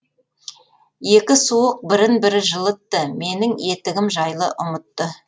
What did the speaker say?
екі суық бірін бірі жылытты менің етігім жайлы ұмытты